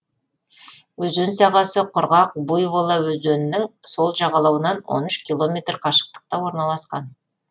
өзен сағасы құрғақ буйвола өзенінің сол жағалауынан он үш километр қашықтықта орналасқан